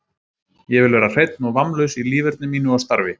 Ég vil vera hreinn og vammlaus í líferni mínu og starfi.